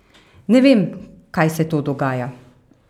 Ne vem, kaj se to dogaja.